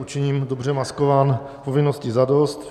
Učiním dobře maskován povinnosti zadost.